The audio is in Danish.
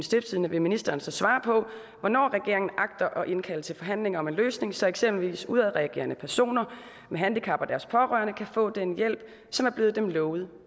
stiftstidende vil ministeren så svare på hvornår regeringen agter at indkalde til forhandlinger om en løsning så eksempelvis udadreagerende personer med handicap og deres pårørende kan få den hjælp som er blevet dem lovet